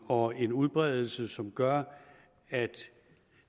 og en udbredelse som gør at